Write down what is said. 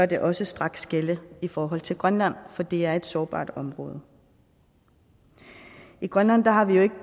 det også straks gælde i forhold til grønland for det er et sårbart område i grønland har vi jo ikke